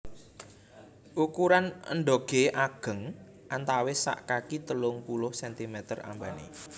Ukuran endhoge ageng antawis sak kaki telung puluh centimeter ambane